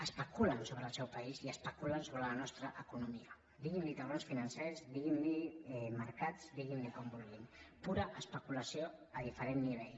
especulen sobre el seu país i especulen sobre la nostra economia diguin ne taurons financers diguin ne mercats diguin ne com vulguin pura especulació a diferent nivell